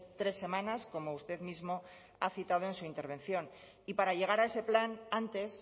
tres semanas como usted mismo ha citado en su intervención y para llegar a ese plan antes